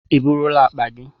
Ị eburula akpa gị?